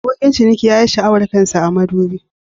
Abokin ciniki ya yi sha'awar kan sa a madubi.